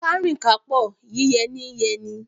Kárìn kápò, yíyẹ ní ń yẹni